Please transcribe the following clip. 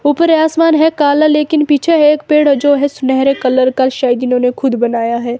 ऊपर आसमान है काला लेकिन पीछे है एक पेड़ जो है सुनहरे कलर का शायद इन्होंने खुद बनाया है।